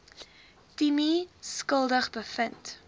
timmie skuldig bevind